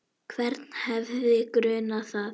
Hvern hefði grunað það?